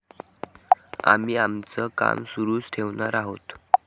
आम्ही आमचं काम सुरूच ठेवणार आहोत.